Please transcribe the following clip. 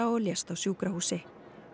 og lést á sjúkrahúsi